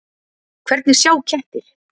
Hvernig sjá kettir?